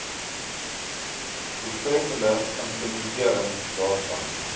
doeltreffende implementering daarvan